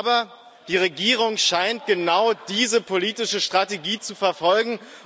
Aber die Regierung scheint genau diese politische Strategie zu verfolgen.